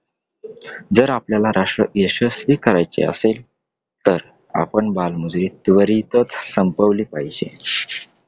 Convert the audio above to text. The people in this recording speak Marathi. जर आपल्याला राष्ट्र यशस्वी करायचे असेल तर आपण आपन बालमजुरी त्वरितच संपवली पाहिजे.